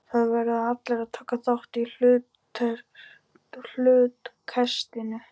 Það verða allir að taka þátt í hlutkestinu.